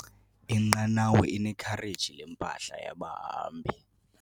Inqanawa inekhareji lempahla yabahambi.